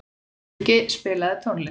Skuggi, spilaðu tónlist.